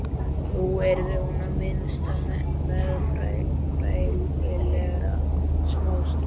Nú yrði hún í það minnsta meðfærilegri smástund.